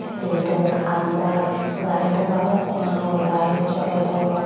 Redot aandaar light o balukko agon light jolodon.